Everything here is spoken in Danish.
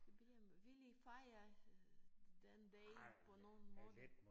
Jubilæum vil I fejre øh den dag på nogen måde?